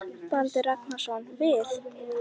Baldur Ragnarsson: Við?